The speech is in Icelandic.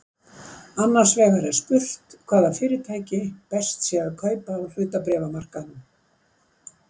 Annars vegar er spurt hvaða fyrirtæki best sé að kaupa á hlutabréfamarkaðinum.